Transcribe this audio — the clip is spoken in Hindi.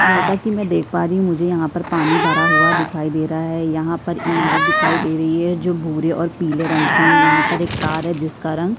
जैसा की मै देख पा रही हूं मुझे यहाँ पर पानी भरा हुआ दिखाई है यहाँ पर इमारत दिखाई दे रही है जो भूरे और पिले रंग की है यहाँ पर एक कार है जिसका रंग --